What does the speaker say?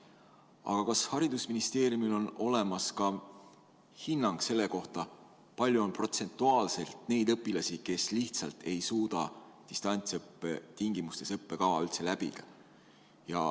Aga kas haridusministeeriumil on olemas ka hinnang selle kohta, kui palju on protsentuaalselt neid õpilasi, kes lihtsalt ei suuda üldse distantsõppe tingimustes õppekava läbida?